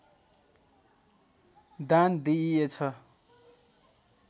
दान दिइएछ